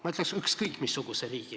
Ma ütleks: ükskõik missuguse riigi.